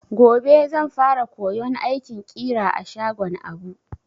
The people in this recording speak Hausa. Gobe zan fara koyon aikin ƙira a shagon Abu.